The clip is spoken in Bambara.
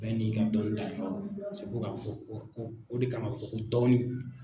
Bɛɛ n'i ka dɔnta o de kama a bɛ fɔ ko dɔnni.